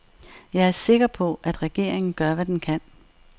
Jeg er sikker på, at regeringen gør, hvad den kan.